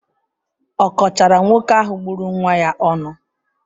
Ọ kọchaara nwoke ahụ gburu nwa ya ọnụ?